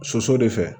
Soso de fɛ